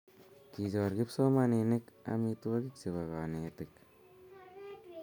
Kichor kipsomaninik amitwokik che konetik.